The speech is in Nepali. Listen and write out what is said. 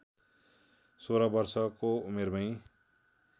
१६ वर्षको उमेरमै